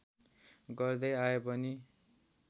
गर्दै आए पनि